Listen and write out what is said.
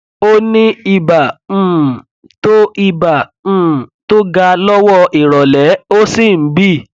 ó ní ibà um tó ibà um tó ga lọwọ ìrọlẹ ó sì ń bì